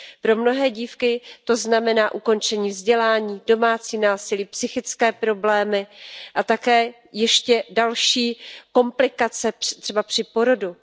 Pro mnohé dívky to znamená ukončení vzdělání, domácí násilí, psychické problémy a také ještě další komplikace, třeba při porodu.